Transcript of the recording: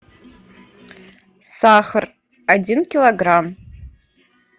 сахар один килограмм